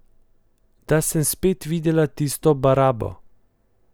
Da sem spet videla tisto barabo.